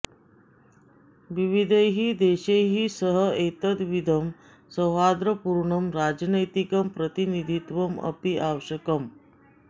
विविधैः देशैः सह एतद्विधं सौहार्दपूर्णं राजनैतिकं प्रतिनिधित्वं अपि आवश्यकम्